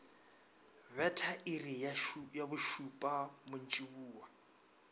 betha iri ya bošupa mantšiboa